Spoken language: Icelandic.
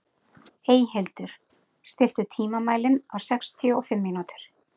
Eyhildur, stilltu tímamælinn á sextíu og fimm mínútur.